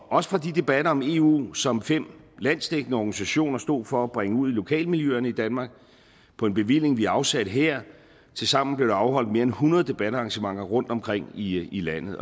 også på de debatter om eu som fem landsdækkende organisationer stod for at bringe ud i lokalmiljøerne i danmark på en bevilling vi afsatte her tilsammen blev der afholdt mere end hundrede debatarrangementer rundtomkring i landet